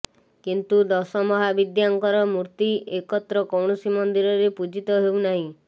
କିନ୍ତୁ ଦଶମହାବିଦ୍ୟାଙ୍କର ମୂର୍ତ୍ତି ଏକତ୍ର କୌଣସି ମନ୍ଦିରରେ ପୂଜିତ ହେଉ ନାହିଁ